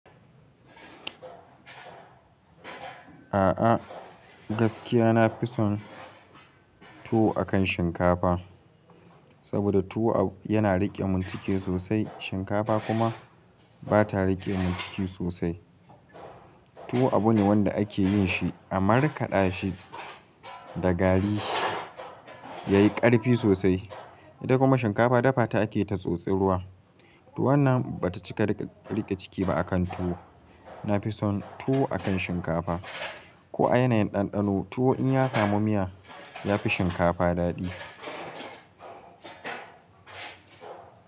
A'a gaskiya nafison tuwo akan shinkafa saboda tuwo yana rike min ciki sosai shinkafa kuma bata rike mun ciki sosai tuwo abu ne wanda ake yinshi a markada shi da gari yayi karfi sosai. Ita kuma shinkafa dafa ta ake ta tsotsa ruwa, toh wannan bata cika rike ciki ba akan tuwo. Nafison tuwo akan shinkafa. Ko a yanayin ɗanɗano tuwo in ya samu miya ya fi shinkafa daɗi.